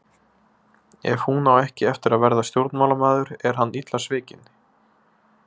Ef hún á ekki eftir að verða stjórnmálamaður er hann illa svikinn.